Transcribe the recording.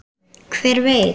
Hver veit.